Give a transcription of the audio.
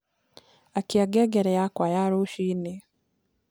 akĩa ngengere yakwa ya rucĩĩni